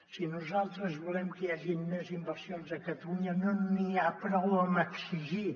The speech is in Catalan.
si nosaltres volem que hi hagin més inversions a catalunya no n’hi ha prou amb exigir